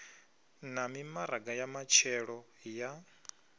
na mimaraga ya matshelo ya